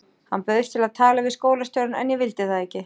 Hann bauðst til að tala við skólastjórann en ég vildi það ekki.